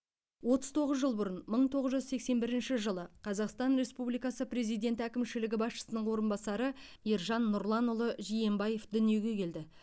отыз тоғыз жыл бұрын мың тоғыз жүз сексен бірінші жылы қазақстан республикасы президенті әкімшілігі басшысының орынбасары ержан нұрланұлы жиенбаев дүниеге келді